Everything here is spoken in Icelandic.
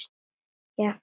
Jafnvel að brosa.